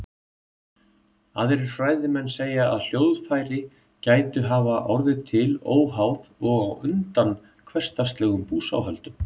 Aðrir fræðimenn segja að hljóðfæri gætu hafa orðið til óháð og á undan hversdagslegum búsáhöldum.